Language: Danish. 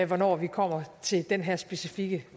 hvornår vi kommer til den her specifikke